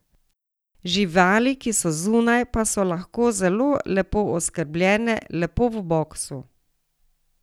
Živali, ki so zunaj, pa so lahko zelo lepo oskrbljene, lepo v boksu.